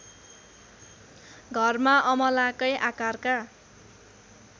घरमा अमलाकै आकारका